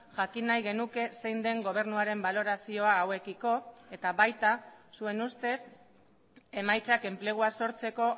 jakin nahi genuke zein den gobernuaren balorazioa hauekiko eta baita zuen ustez emaitzak enplegua sortzeko